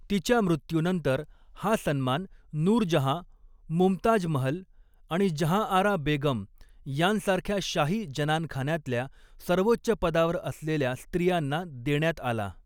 तिच्या मृत्यूनंतर, हा सन्मान नूरजहाँ, मुमताज महल आणि जहांआरा बेगम यांसारख्या शाही जनानखानातल्या सर्वोच्च पदावर असलेल्या स्त्रियांना देण्यात आला.